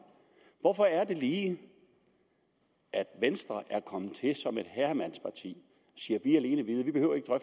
hvorfor er det lige at venstre kommer som et herremandsparti